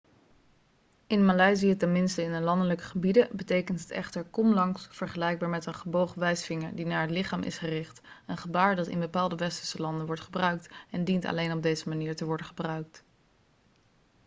in maleisië tenminste in de landelijke gebieden betekent het echter kom langs' vergelijkbaar met een gebogen wijsvinger die naar het lichaam is gericht een gebaar dat in bepaalde westerse landen wordt gebruikt en dient alleen op deze manier te worden gebruikt